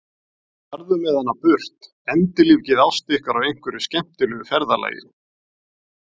Farðu með hana burt, endurlífgið ást ykkar á einhverju skemmtilegu ferðalagi!